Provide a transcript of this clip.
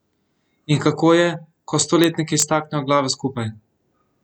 In kako je, ko stoletniki staknejo glave skupaj?